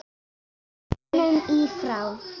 himnum í frá